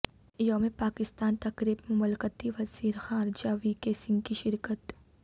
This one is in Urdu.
یوم پاکستان تقریب میں مملکتی وزیر خارجہ وی کے سنگھ کی شرکت